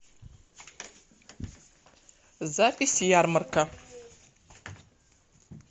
запись ярмарка